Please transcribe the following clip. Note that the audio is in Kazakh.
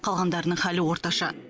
қалғандарының халі орташа